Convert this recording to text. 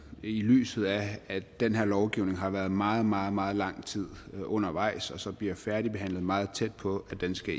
i lyset af at den her lovgivning har været meget meget meget lang tid undervejs og så bliver færdigbehandlet meget tæt på at den skal